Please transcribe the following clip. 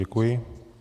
Děkuji.